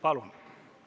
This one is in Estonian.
Palun!